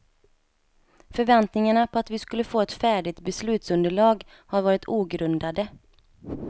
Förväntningarna på att vi skulle få ett färdigt beslutsunderlag har varit ogrundade.